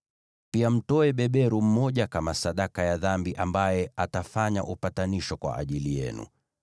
Pia mtoe beberu mmoja kama sadaka ya dhambi ambaye atafanya upatanisho kwa ajili yenu.